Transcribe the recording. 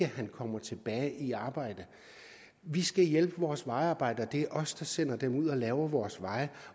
han kommer tilbage i arbejde vi skal hjælpe vores vejarbejdere det er os der sender dem ud for at lave vores veje